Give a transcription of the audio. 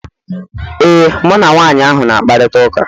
Ee, mụ na nwanyị ahụ na-akparịta ụka